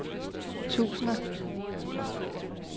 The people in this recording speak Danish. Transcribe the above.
tusinder